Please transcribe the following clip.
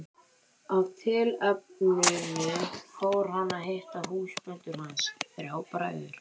Af tilefninu fór hann að hitta húsbændur hans, þrjá bræður.